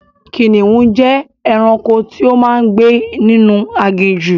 Ẹkùn jẹ́ ẹranko tí ó máa ń gbé ninu aginjù